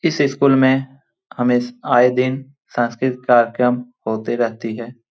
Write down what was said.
इस स्कूल में हमेश आए दिन संस्कृत कार्यक्रम होते रहती है।